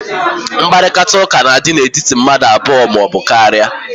Nkparịta ụka n'adị n'etiti mmadụ abụọ maọbụ karịa